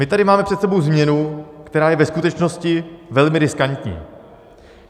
My tady máme před sebou změnu, která je ve skutečnosti velmi riskantní.